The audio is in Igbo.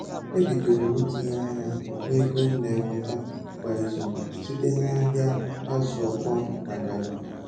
E bidoro m itinye anya na ego m na enweta kwa izu site na ahịa azụ ọkpọọ na garrị